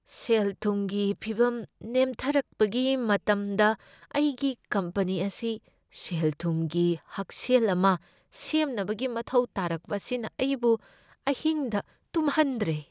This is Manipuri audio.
ꯁꯦꯜ ꯊꯨꯝꯒꯤ ꯐꯤꯚꯝ ꯅꯦꯝꯊꯔꯛꯄꯒꯤ ꯃꯇꯝꯗ ꯑꯩꯒꯤ ꯀꯝꯄꯅꯤ ꯑꯁꯤ ꯁꯦꯜꯊꯨꯝꯒꯤ ꯍꯛꯁꯦꯜ ꯑꯃ ꯁꯦꯝꯅꯕꯒꯤ ꯃꯊꯧ ꯇꯥꯔꯛꯄ ꯑꯁꯤꯅ ꯑꯩꯕꯨ ꯑꯍꯤꯡꯗ ꯇꯨꯝꯍꯟꯗ꯭ꯔꯦ꯫